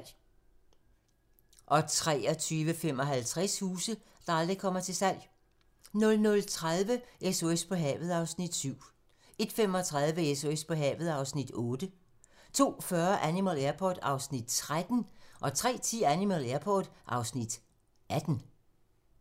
23:55: Huse, der aldrig kommer til salg 00:30: SOS på havet (Afs. 7) 01:35: SOS på havet (Afs. 8) 02:40: Animal Airport (Afs. 13) 03:10: Animal Airport (Afs. 18)